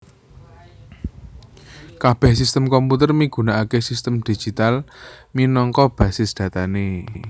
Kabèh sistem komputer migunakaké sistem digital minangka basis datané